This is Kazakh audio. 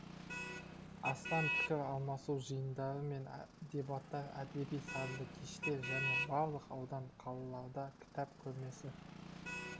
астам пікір алмасу жиындары мен дебаттар әдеби сазды кештер және барлық аудан қалаларда кітап көрмесі